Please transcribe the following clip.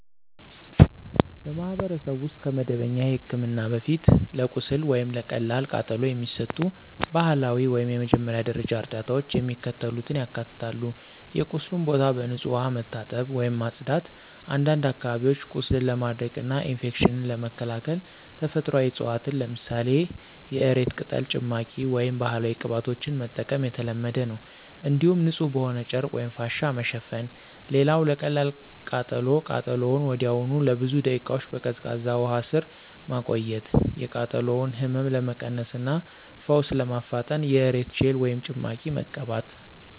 በማኅበረሰብ ውስጥ ከመደበኛ ሕክምና በፊት ለቁስል ወይም ለቀላል ቃጠሎ የሚሰጡ ባህላዊ ወይም የመጀመሪያ ደረጃ እርዳታዎች የሚከተሉትን ያካትታሉ የቁስሉን ቦታ በንጹሕ ውሃ መታጠብ ወይም ማጽዳት፣ አንዳንድ አካባቢዎች ቁስልን ለማድረቅና ኢንፌክሽንን ለመከላከል ተፈጥሯዊ ዕፅዋትን ለምሳሌ የእሬት ቅጠል ጭማቂ ወይም ባህላዊ ቅባቶችን መጠቀም የተለመደ ነው። እንዲሁም ንጹሕ በሆነ ጨርቅ ወይም ፋሻ መሸፈን። ሌላው ለቀላል ቃጠሎ ቃጠሎውን ወዲያውኑ ለብዙ ደቂቃዎች በቀዝቃዛ ውሃ ስር ማቆየት፣ የቃጠሎውን ህመም ለመቀነስ እና ፈውስ ለማፋጠን የእሬት ጄል ወይም ጭማቂ መቀባት።